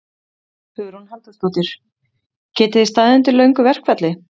Hugrún Halldórsdóttir: Getið þið staðið undir löngu verkfalli?